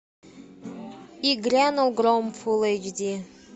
и грянул гром фулл эйч ди